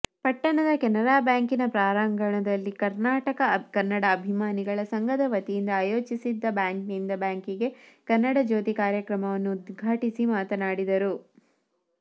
ಪಟ್ಟಣದ ಕೆನರಾಬ್ಯಾಂಕಿನ ಪ್ರಾಂಗಣದಲ್ಲಿ ಕರ್ನಾಟಕ ಕನ್ನಡ ಅಭಿಮಾನಿಗಳ ಸಂಘದ ವತಿಯಿಂದ ಆಯೋಜಿಸಿದ್ದ ಬ್ಯಾಂಕ್ನಿಂದ ಬ್ಯಾಂಕಿಗೆ ಕನ್ನಡಜ್ಯೋತಿ ಕಾರ್ಯಕ್ರಮವನ್ನು ಉದ್ಘಾಟಿಸಿ ಮಾತನಾಡಿದರು